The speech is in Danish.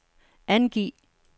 angiv